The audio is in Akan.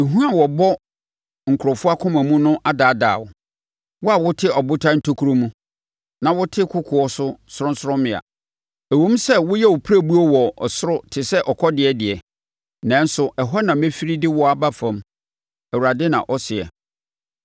Ehu a wobɔ nkurɔfoɔ akoma mu no adaadaa wo, wo a wote abotan ntokuro mu, na wote kokoɔ no sorɔnsorɔmmea. Ɛwom sɛ woyɛ wo pirebuo wɔ soro tɛ sɛ ɔkɔdeɛ deɛ, nanso ɛhɔ na mɛfiri de wo aba fam,” Awurade na ɔseɛ.